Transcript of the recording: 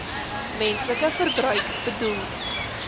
menslike verbruik bedoel